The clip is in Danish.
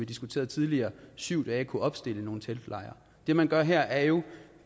diskuterede tidligere på syv dage kunne opstille nogle teltlejre det man gør her er jo